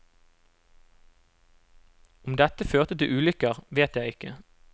Om dette førte til ulykker, vet jeg ikke.